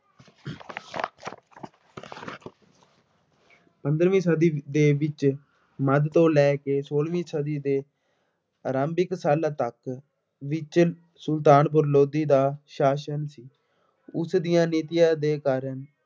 ਪੰਦਰਵੀ ਸਦੀ ਦੇ ਵਿੱਚ ਮੱਧ ਤੋਂ ਲੈ ਕੇ ਸੋਲਵੀਂ ਸਦੀ ਦੇ ਆਰੰਭਿਕ ਸੰਨ ਤੱਕ ਵਿੱਚ ਸੁਲਤਾਨਪੁਰ ਲੋਧੀ ਦਾ ਸਾਸ਼ਨ ਓੁਸ ਦੀਆਂ ਨੀਤੀਆਂ ਦੇ ਕਾਰਨ।